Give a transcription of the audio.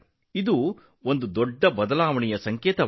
ಇವು ದೊಡ್ಡ ಬದಲಾವಣೆಯ ಲಕ್ಷಣಗಳಾಗಿವೆ